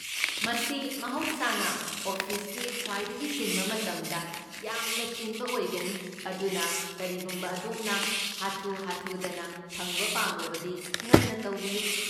ꯃꯁꯤ ꯃꯍꯧꯁꯥꯅ ꯑꯣꯐꯤꯁꯀꯤ ꯈ꯭ꯋꯥꯏꯗꯒꯤ ꯆꯤꯟꯕ ꯃꯇꯝꯗ ꯌꯥꯝꯅ ꯆꯤꯟꯕ ꯑꯣꯏꯒꯅꯤ, ꯑꯗꯨꯅ ꯀꯔꯤꯒꯨꯝꯕ ꯑꯗꯣꯝꯅ ꯍꯥꯊꯨ ꯍꯥꯊꯨꯗꯅ ꯐꯪꯕ ꯄꯥꯝꯂꯕꯗꯤ ꯉꯟꯅ ꯇꯧꯕꯤꯌꯨ꯫